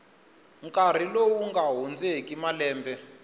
nkarhi lowu nga hundzeki malembe